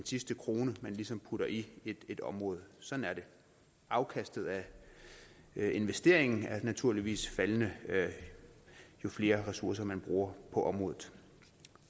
sidste krone man ligesom putter i et område sådan er det afkastet af investeringen er naturligvis faldende jo flere ressourcer man bruger på området